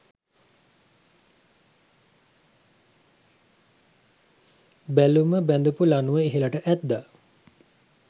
බැලුම බැඳපු ලණුව ඉහළට ඇද්දා.